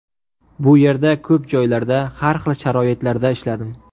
Bu yerda ko‘p joylarda, har xil sharoitlarda ishladim.